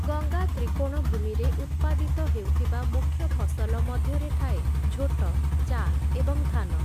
ଗଙ୍ଗା ତ୍ରିକୋଣଭୂମିରେ ଉତ୍ପାଦିତ ହେଉଥିବା ମୁଖ୍ୟ ଫସଲ ମଧ୍ୟରେ ଥାଏ ଝୋଟ, ଚା' ଏବଂ ଧାନ ।